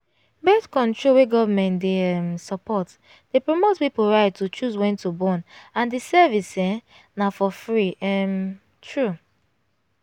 birth-control wey government dey um support dey promote people right to choose wen to born and the service um na for free um true